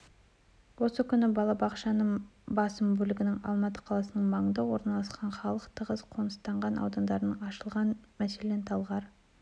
осы күні балабақшаның басым бөлігі алматы қаласының маңында орналасқан халық тығыз қоныстанған аудандарда ашылған мәселен талғар